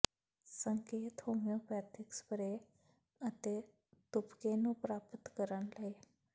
ਸੰਕੇਤ homeopathy spray ਅਤੇ ਤੁਪਕੇ ਨੂੰ ਪ੍ਰਾਪਤ ਕਰਨ ਲਈ